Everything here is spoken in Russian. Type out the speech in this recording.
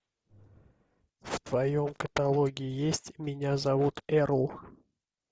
в твоем каталоге есть меня зовут эрл